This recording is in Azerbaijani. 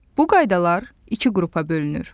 Bu qaydalar iki qrupa bölünür.